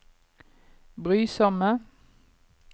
brysomme